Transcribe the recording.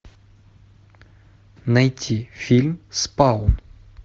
найти фильм спаун